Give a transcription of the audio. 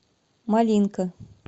малинка